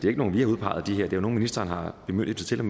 er nogen vi har udpeget det er nogle ministeren har bemyndiget til